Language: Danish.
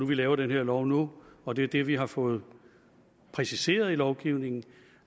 vi laver den her lov nu og det er det vi har fået præciseret i lovgivningen at